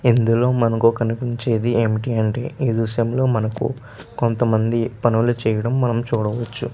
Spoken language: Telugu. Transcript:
ఇందులో మనకి కనిపించేది ఏంటంటే ఈ దృశ్యం లో మనకు కొంత మంది పన్లు చేయడం మనం చూడవచ్చు కనిపిస్తుంది.